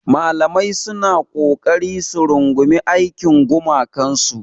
Malamai suna ƙoƙari su rungumi aikin gumakansu.